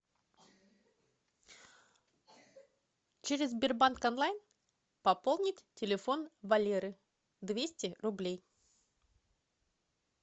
через сбербанк онлайн пополнить телефон валеры двести рублей